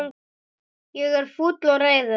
Ég er fúll og reiður.